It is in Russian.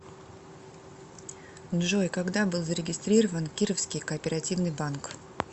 джой когда был зарегистрирован кировский кооперативный банк